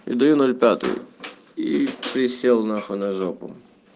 я даю нуль пятую и присел нахуй на жопу